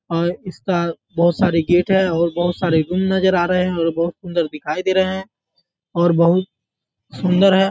और इसका बहोत साडी गेट है और बहोत सरे गुन नजर आ रहे हैं और बोहोत सुन्दर दिखाई दे रहे हैं और बोहुत सुन्दर है |